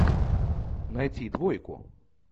найти двойку